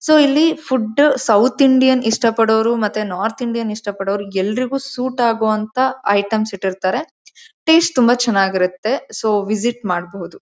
So ಇಲ್ಲಿ food south Indian ಇಷ್ಟ ಪಡೋರು ಮತ್ತೆ ನಾರ್ತ್ ಇಂಡಿಯನ್ ಇಷ್ಟ ಪಡೋರು ಎಲ್ಲರಿಗೂ ಸೂಟ್ ಆಗುವಂತಹ ಐಟೆಮ್ಸ ಇಟ್ಟಿರುತ್ತಾರೆ ಟೇಸ್ಟ್ ತುಂಬಾ ಚೆನ್ನಾಗಿರುತ್ತೆ ಸೊ ವಿಸಿಟ್ ಮಾಡಬಹುದು.